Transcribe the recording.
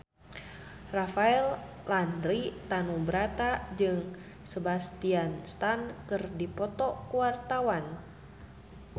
Rafael Landry Tanubrata jeung Sebastian Stan keur dipoto ku wartawan